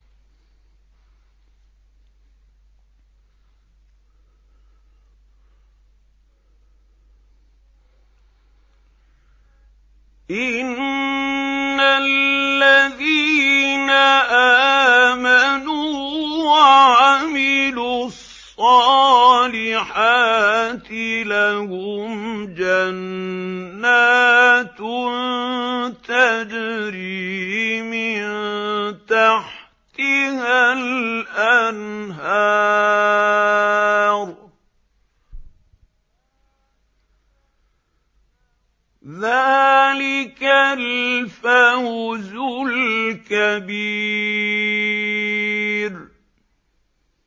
إِنَّ الَّذِينَ آمَنُوا وَعَمِلُوا الصَّالِحَاتِ لَهُمْ جَنَّاتٌ تَجْرِي مِن تَحْتِهَا الْأَنْهَارُ ۚ ذَٰلِكَ الْفَوْزُ الْكَبِيرُ